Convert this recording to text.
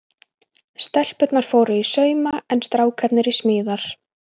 Stelpurnar fóru í sauma en strákarnir í smíðar.